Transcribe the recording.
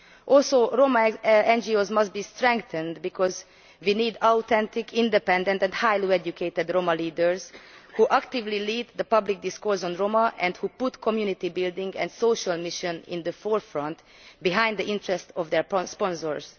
Also, Roma NGOs must be strengthened because we need authentic, independent and highly educated Roma leaders who actively lead the public discourse on Roma and who put community building and social acceptance at the forefront and above the interests of their sponsors.